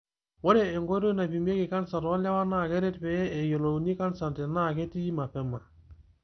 Ore enkoitoi naipimieki kansa toolewa naa keret pee eyiolouni kansa tenaa ketii mapema.